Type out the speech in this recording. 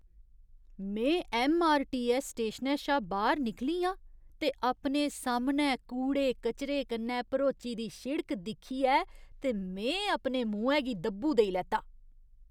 में ऐम्मआरटीऐस्स स्टेशनै शा बाह्‌र निकली आं ते अपने सामनै कूड़े कचरे कन्नै भरोची दी शिड़क दिक्खियै ते में अपने मुहैं गी दब्बू देई लैता।